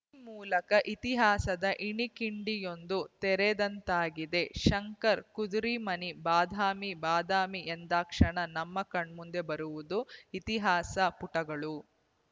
ಈ ಮೂಲಕ ಇತಿಹಾಸದ ಇಣುಕಿಂಡಿಯೊಂದು ತೆರೆದಂತಾಗಿದೆ ಶಂಕರ್ ಕುದರಿಮನಿ ಬಾದಾಮಿ ಬಾದಾಮಿ ಎಂದಾಕ್ಷಣ ನಮ್ಮ ಕಣ್ಮುಂದೆ ಬರುವುದು ಇತಿಹಾಸ ಪುಟಗಳು